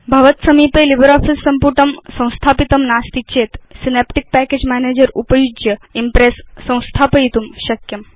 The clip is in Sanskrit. भवत् समीपे लिब्रियोफिस सम्पुटं संस्थापितं नास्ति चेत् सिनेप्टिक् पैकेज मैनेजर उपयुज्य इम्प्रेस् संस्थापयितुं शक्यम्